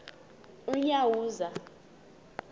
unyawuza